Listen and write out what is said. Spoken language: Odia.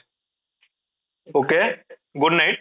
ok, good night